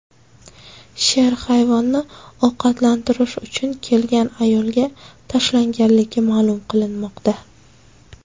Sher hayvonni ovqatlantirish uchun kelgan ayolga tashlanganligi ma’lum qilinmoqda.